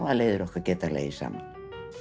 að leiðir okkar geta legið saman